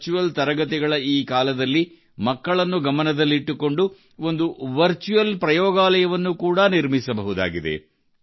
virtual ತರಗತಿಗಳ ಈ ಕಾಲದಲ್ಲಿ ಮಕ್ಕಳನ್ನು ಗಮನದಲ್ಲಿಟ್ಟುಕೊಂಡು ಒಂದು ವರ್ಚುವಲ್ ಪ್ರಯೋಗಾಲಯವನ್ನು ಕೂಡಾ ನಿರ್ಮಿಸಬಹುದಾಗಿದೆ